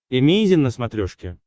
эмейзин на смотрешке